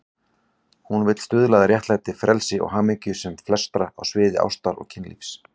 Hún vill stuðla að réttlæti, frelsi og hamingju sem flestra á sviði ástar og kynlífs.